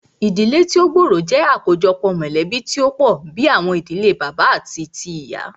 Ìdílé tí o gbóòrò jẹ́ àkójọpọ̀ mọ̀lẹ̀bí tí o pọ̀ bìí àwọn ìdílé bàbá àti tíì ìyá.